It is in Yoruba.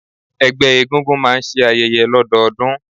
Ẹgbẹ́ egúngún máà ń ṣe ayẹyẹ lọdọọdun.